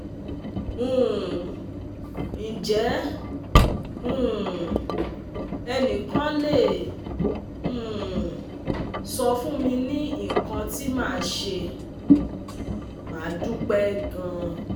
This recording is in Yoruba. um Nje um enikan le um sofun mi ni ikan ti ma se? Ma dupe gan